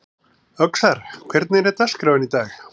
Öxar, hvernig er dagskráin í dag?